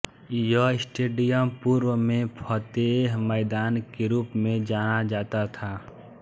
यह स्टेडियम पूर्व में फतेह मैदान के रूप में जाना जाता था